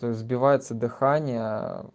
сбивается дыхание